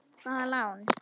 Hvaða lán?